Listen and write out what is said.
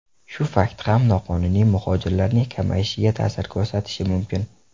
Shu fakt ham noqonuniy muhojirlarning kamayishiga ta’sir ko‘rsatishi mumkin.